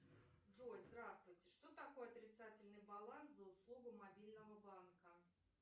джой здравствуйте что такое отрицательный баланс за услугу мобильного банка